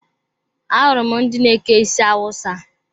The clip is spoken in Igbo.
Ahụrụ m ndị na-eke isi Awusa.